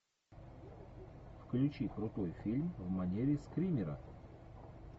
включи крутой фильм в манере скримера